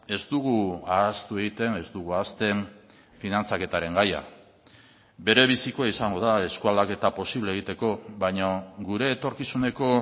ez dugu ahaztu egiten ez dugu ahazten finantzaketaren gaia bere bizikoa izango da eskualdaketa posible egiteko baina gure etorkizuneko